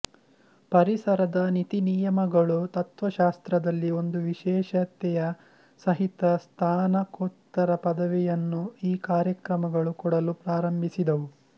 ಪರಿಸರದ ನೀತಿನಿಯಮಗಳುತತ್ವಶಾಸ್ತ್ರದಲ್ಲಿ ಒಂದು ವಿಶೇಷತೆಯ ಸಹಿತ ಸ್ನಾತಕೋತ್ತರ ಪದವಿಯನ್ನೂ ಈ ಕಾರ್ಯಕ್ರಮಗಳು ಕೊಡಲು ಪ್ರಾರಂಭಿಸಿದವು